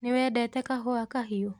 Nĩwendete kahũa kahiũ?